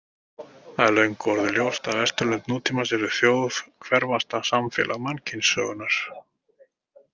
Það er löngu orðið ljóst að Vesturlönd nútímans eru þjóðhverfasta samfélag mannkynssögunnar.